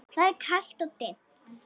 Það er kalt og dimmt.